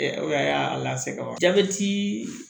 O y'a lase wa jabɛti